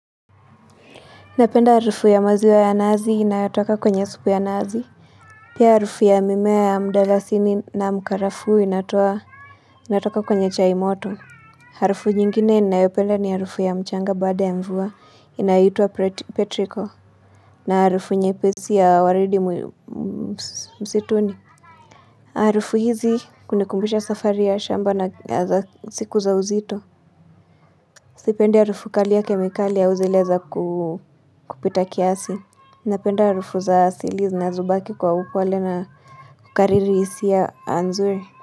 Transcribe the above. Napenda harufu ya maziwa ya nazi inayotoka kwenye supu ya nazi. Pia harufu ya mimea ya mdalasini na mkarafuu inatoa inatoka kwenye chai moto. Harufu nyingine ninayopenda ni harufu ya mchanga baada ya mvua inayoitwa petrico. Na harufu nyepesi ya waridi msituni. Harufu hizi kunikumbisha safari ya shamba na siku za uzito. Sipendi harufu kali ya kemikali au zile za kupita kiasi. Napenda harufu za asili zinazobaki kwa upole na kukariri hisia nzuri.